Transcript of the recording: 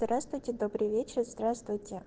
здравствуйте добрый вечер здравствуйте